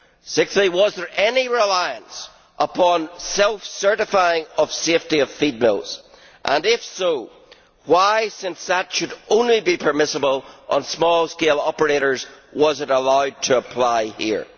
Sixthly, was there any reliance upon self certifying of safety of feed mills and, if so, why since that should only be permissible on small scale operators was it allowed to apply here?